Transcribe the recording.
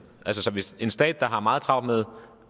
hvis en stat der har meget travlt med